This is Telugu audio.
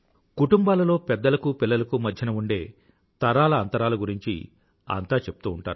కుటుంబాలలో పెద్దలకూ పిల్లలకూ మధ్యన ఉండే తరాల అంతరాల గురించి అంతా చెప్తూ ఉంటారు